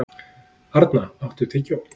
Arna, áttu tyggjó?